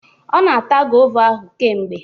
Ọ na ata gova ahụ kemgbe.